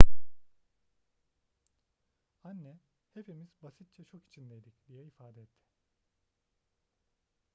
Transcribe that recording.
anne hepimiz basitçe şok içindeydik diye ifade etti